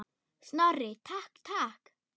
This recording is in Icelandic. Snorri, takk, takk.